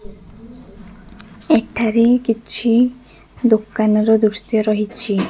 ଏଠାରେ କିଛି ଦୋକାନର ଦୃଶ୍ଯ ରହିଛି।